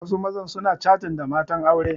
Wasu mazan suna catin da matan aure